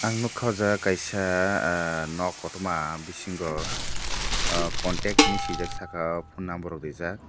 ang nugkha aw jaaga kaisa ahh nok kotor ma bisingo contact henui swijak saka phone number rok reejak.